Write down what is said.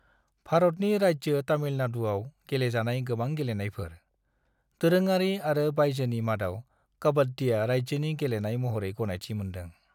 भारतनि राज्यो तामिलनाडुआव गेलेजानाय गोबां गेलेनायफोर, दोरोङारि आरो बायजोनि, मादाव काबाड्डिआ राज्योनि गेलेनाय महरै गनायथि मोनदों।